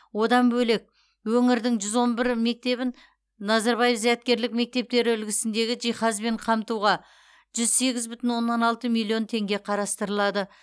одан бөлек өңірдің жүз он бірі мектебін назарбаев зияткерлік мектептері үлгісіндегі жиһазбен қамтуға жүз сегіз бүтін оннан алты миллион теңге қарастырылады